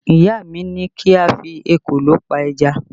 Ìyá mi ní kí a fi ekòló pẹja